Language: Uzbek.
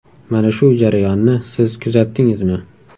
Mana shu jarayonni siz kuzatdingizmi?